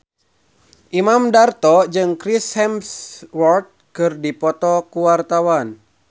Imam Darto jeung Chris Hemsworth keur dipoto ku wartawan